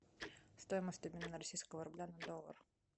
стоимость обмена российского рубля на доллар